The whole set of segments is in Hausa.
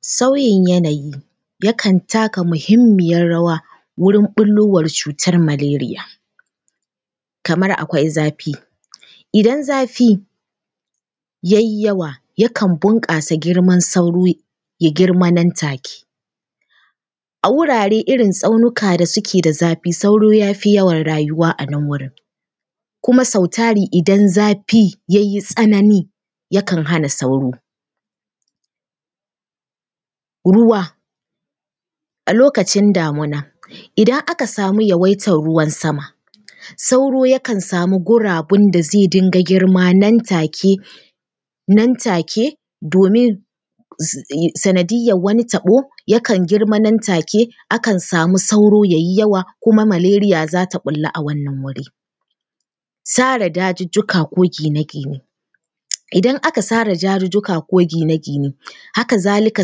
Sauyin yanayi yakan taka muhimmiyar rawa wurin ɓullowar cutar malaria, kamar akwai zafi. Idan zafi ya yi yawa, yakan bunƙasa girman sauro, ya girma nan take. A wurare irin tsaunuka da suke da zafi, sauro ya fi yawan rayuwa a nan wurin, kuma sau tari idan zafi ya yi tsanani, yakan hana sauro. Ruwa a lokacin damina, idan aka samu yawaitar ruwan sama, sauro zai samu guraben da zai dinga girma nan take, nan take, domin sanadiyyar wani taɓo, yakan girma nan take, akan samu sauro ya yi yawa kuma malaria za ta ɓulla a wannan wuri. Sare dazuzzuka ko gine-gine, idan aka sare dazuzzuka ko gine-gine, haka zalika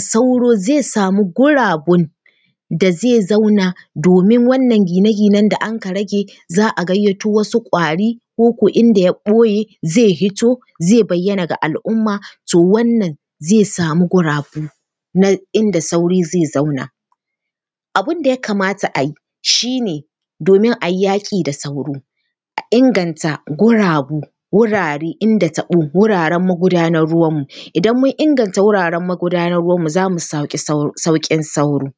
sauro zai samu gurubun da zai zauna domin wannan gine-ginen da anka rage, za a gayyato wasu ƙwari ko ko inda ya ɓoye, zai fito zai bayyana ga al’umma. To wannan zai samu gurabu na inda sauro zai zauna. Abin da ya kamaa a yi shi ne, domin a yi yaƙi da sauro a inganta gurabu, wurare, inda taɓo, wuraren magudanar ruwanmu, idan mun inganta wuraren magudanar ruwanmu za mu samu sauƙin sauro.